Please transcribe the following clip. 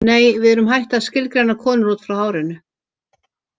Nei, við erum hætt að skilgreina konur út frá hárinu.